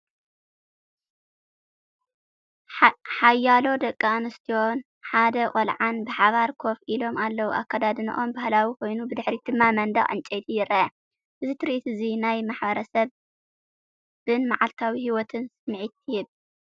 ሓያሎ ደቂ ኣንስትዮን ሓደ ቆልዓን ብሓባር ኮፍ ኢሎም ኣለዉ። ኣከዳድናኦም ባህላዊ ኮይኑ፡ ብድሕሪት ድማ መንደቕ ዕንጨይቲ ይርአ። እዚ ትርኢት እዚ ናይ ማሕበረሰብን መዓልታዊ ህይወትን ስምዒት ይህብ።